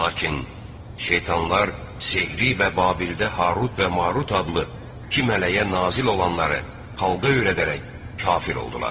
Lakin şeytanlar sehri və Babildə Harut və Marut adlı iki mələyə nazil olanları xalqa öyrədərək kafir oldular.